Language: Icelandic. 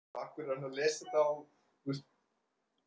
Það hlýtur að koma hingað.